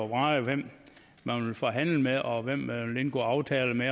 vrage hvem man vil forhandle med og hvem man vil indgå aftale med